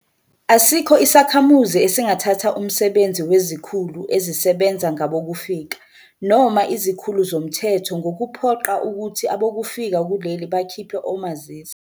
Asikho isakhamuzi esingathatha umsebenzi wezikhulu ezisebenza ngabokufika noma izikhulu zomthetho ngokuphoqa ukuthi abokufika kuleli bakhiphe omazisi.